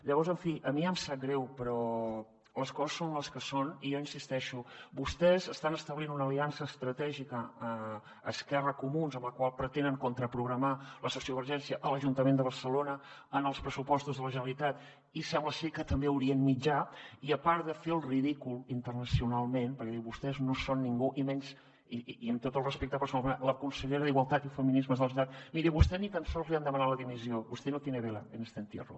llavors en fi a mi em sap greu però les coses són les que són i jo hi insisteixo vostès estan establint una aliança estratègica esquerra comuns amb la qual pretenen contraprogramar la sociovergència a l’ajuntament de barcelona en els pressupostos de la generalitat i sembla ser que també a orient mitjà i a part de fer el ridícul internacionalment perquè vostès no són ningú i menys i amb tot el respecte personal la consellera d’igualtat i feminismes de la generalitat miri a vostè ni tan sols li han demanat la dimissió vostè no tiene vela en este entierro